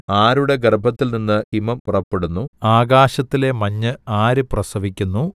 ആരുടെ ഗർഭത്തിൽനിന്ന് ഹിമം പുറപ്പെടുന്നു ആകാശത്തിലെ മഞ്ഞ് ആര് പ്രസവിക്കുന്നു